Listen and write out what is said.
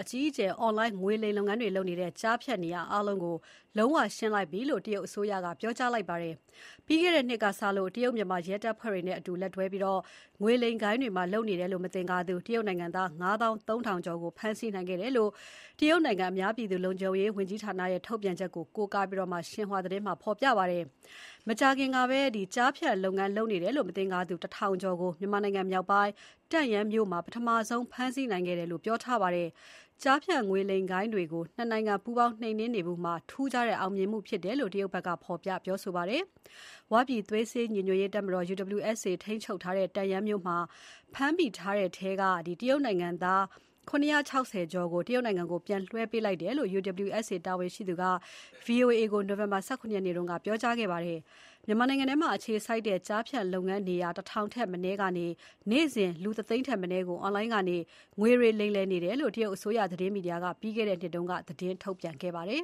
အကြီးအကျယ်လုပ်နေတဲ့ ကျားဖြန့်နေရာအားလုံးကို လုံးဝရှင်းလင်းလိုက်ပြီလို့ တရုတ်အစိုးရက ပြောကြားခဲ့ပါတယ်။ ပြီးခဲ့တဲ့နှစ်ကစလို့ တရုတ်-မြန်မာရဲတပ်ဖွဲ့တွေအတူလက်တွဲပြီး ငွေလိမ်ဂိုဏ်းတွေမှာလုပ်နေတယ်လို့ မသင်္ကာသူ တရုတ်နိုင်ငံသား ငါးသောင်းသုံးထောင် (၅၃,၀၀၀) ကျော်ကို ဖမ်းဆီးနိုင်ခဲ့တယ်လို့ တရုတ်နိုင်ငံ အများပြည်သူ လုံခြုံရေးဝန်ကြီးဌာနရဲ့ ထုတ်ပြန်ချက်ကို ကိုးကားပြီး ရှင်ဟွာသတင်းမှာ ဖော်ပြပါတယ်။ မကြာခင်ကပဲ ကျားဖြန့်လုပ်ငန်းလုပ်နေတယ်လို့ မသင်္ကာသူ ၁,၀၀၀ ကျော်ကို မြန်မာနိုင်ငံမြောက်ပိုင်း တန့်ယန်းမြို့မှာပထမဆုံးဖမ်းဆီးနိုင်ခဲ့တယ်လို့ ပြောထားပါတယ်။ ကျားဖြန့်ငွေလိမ်ဂိုဏ်းတွေကို ၂ နိုင်ငံပူးပေါင်းနှိမ်နှင်းနေမှုမှာထူးခြားတဲ့အောင်မြင်မှုဖြစ်တယ်လို့ တရုတ်ဘက်က ဖော်ပြပါတယ်။ ဝ ပြည်သွေးစည်းညီညွတ်ရေးတပ်မတော် UWSA ထိန်းချုပ်ထားတဲ့ တန့်ယန်းမြို့မှာ ဖမ်းမိတဲ့ထဲက တရုတ်နိုင်ငံ သား ၇၆၀ ကျော်ကို တရုတ်နိုင်ငံကို ပြန်လွှဲပြောင်းပေးလိုက်တယ်လို့ UWSA တာဝန်ရှိ သူက ဗွီအိုအေကို နိုဝင်ဘာလ ၁၇ ရက်နေ့ကပဲ ပြောခဲ့ပါတယ်။ မြန်မာနိုင်ငံထဲမှာအခြေစိုက်တဲ့ ကျားဖြန့်လုပ်ငန်းနေရာ ၁,၀၀၀ ထက်မနည်းကနေ နေ့စဉ် လူတသိန်း ထက်မနည်းကို အွန်လိုင်းကနေ ငွေတွေလိမ်လည်နေတယ်လို့ တရုတ်အစိုးရသတင်းမီဒီယာက ပြီးခဲ့တဲ့နှစ်က သတင်းထုတ်ပြန်ခဲ့ပါတယ်